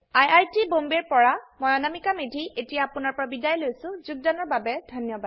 I I T Bombay ৰ পৰা মই অনামিকা মেধী এতিয়া আপুনাৰ পৰা বিদায় লৈছো যোগদানৰ বাবে ধন্যবাদ